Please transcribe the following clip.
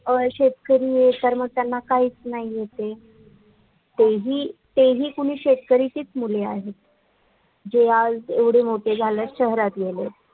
अ शेतकरी हे कर्मठयाना काहीच नाही येते तेही तेही कोणी शेतकरीचीच मुले आहेत जे आज ऐवढे मोठे झालेत शहरात गेलेत